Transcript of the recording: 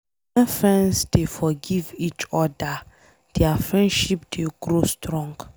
Wen friends dey forgive each oda, dia friendship dey grow strong.